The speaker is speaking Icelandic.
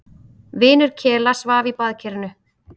Vinur Kela svaf í baðkerinu.